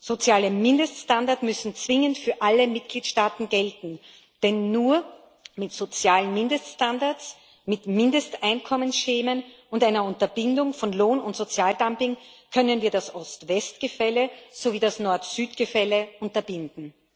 Soziale Mindeststandards müssen zwingend für alle Mitgliedstaaten gelten, denn nur mit sozialen Mindeststandards, mit Mindesteinkommensschemen und einer Unterbindung von Lohn und Sozialdumping können wir das Ost West Gefälle sowie das Nord Süd Gefälle überwinden.